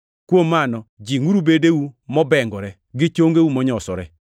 Kuom mano jingʼuru bedeu mobengore gi chongeu monyosore.